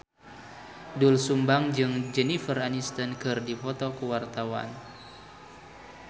Doel Sumbang jeung Jennifer Aniston keur dipoto ku wartawan